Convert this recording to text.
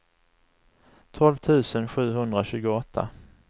tolv tusen sjuhundratjugoåtta